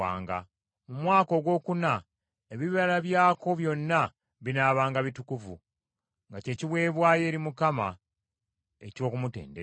Mu mwaka ogwokuna ebibala byako byonna binaabanga bitukuvu, nga kye kiweebwayo eri Mukama eky’okumutendereza.